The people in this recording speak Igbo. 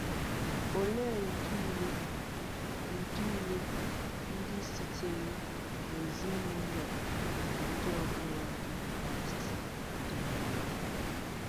Òleè ùdị ulè ùdị ulè ndí sìtèrì n’èzíǹúlọ̀ bụ́ ndí ọ̀bụ̀rọ̀ Ndí Kráìst dìrìlà?